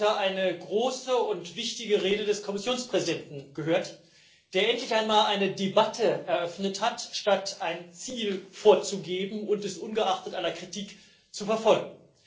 Wir haben heute eine große und wichtige Rede des Kommissionspräsidenten gehört, der endlich einmal eine Debatte eröffnet hat, statt ein Ziel vorzugeben und es ungeachtet aller Kritik zu verfolgen.